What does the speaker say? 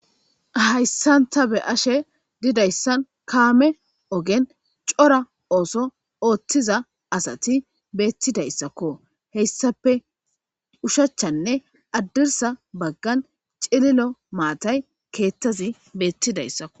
Hayssan tha be7ashe dizayssa kaame ogen cora ooso ooseththiza asathi beeththizayssakko; he issappe ushachchanne addirssa baggan cililo maathay keeththazi beeththizaysakko.